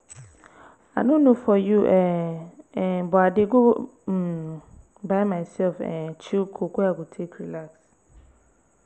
i no know for you um um but i dey go um buy myself um chill coke wey i go take relax